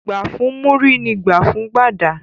Gbà fún Múrí ni gbà fún Gbàdà.